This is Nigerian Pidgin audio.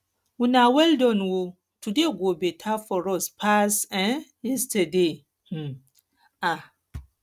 una weldon oo today go better for us pass um yesterday um um